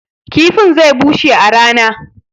kifin zai bushe a rana